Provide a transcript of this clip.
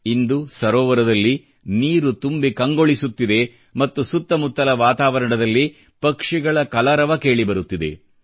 ಇಂದು ಸರೋವರದಲ್ಲಿ ನೀರು ತುಂಬಿ ಕಂಗೊಳಿಸುತ್ತಿದೆ ಮತ್ತು ಸುತ್ತಮುತ್ತಲ ವಾತಾವರಣದಲ್ಲಿ ಪಕ್ಷಿಗಳ ಕಲರವ ಕೇಳಿಬರುತ್ತಿದೆ